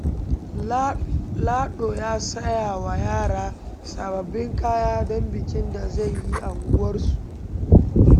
Lado ya saya wa yara sababbin kaya don bikin da zai yi a unguwarsu.